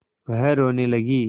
वह रोने लगी